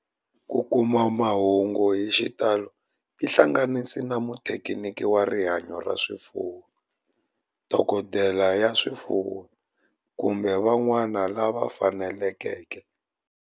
Ku kuma mahungu hi xitalo tihlanganisi na muthekiniki wa rihanyo ra swifuwo, dokodela ya swifuwo, kumbe vanhu van'wana lava fanelekeke